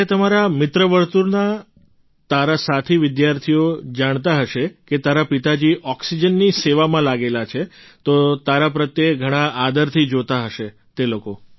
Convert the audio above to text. જ્યારે તમારા મિત્રવર્તુળના તારા સાથી વિદ્યાર્થીઓ જાણતા હશે કે તારા પિતાજી ઑક્સિજનની સેવામાં લાગેલા છે તો તારા પ્રત્યે ઘણા આદરથી જોતા હશે તે લોકો